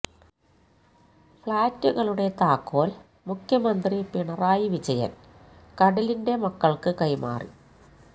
ഫ്ളാറ്റുകളുടെ താക്കോല് മുഖ്യമന്ത്രി പിണറായി വിജയന് കടലിന്റെ മക്കള്ക്ക് കൈമാറി